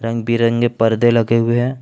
रंग बिरंगे पर्दे लगे हुए हैं।